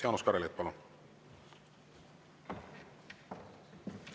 Jaanus Karilaid, palun!